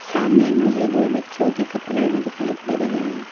सामने मुझे दो बच्चों के कपड़े भी दिखाई दे रही है।